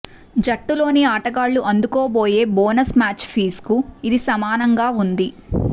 జట్టులోని ఆటగాళ్లు అందుకోబోయే bonus match ఫీజ్కి ఇది సమానంగా ఉంది